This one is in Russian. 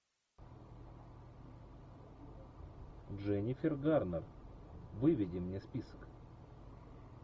дженнифер гарнер выведи мне список